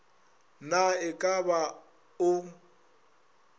na e ka ba o